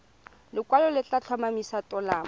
lekwalo le tla tlhomamisa tumalano